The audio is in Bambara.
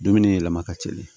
Dumuni yɛlɛma ka teli